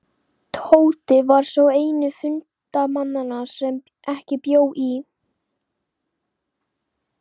Tóti var sá eini fundarmanna sem ekki bjó í